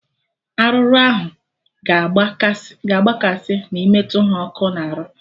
Arụrụ ahụ ga agba kasị ma ị metụ ha ọkụ na arụ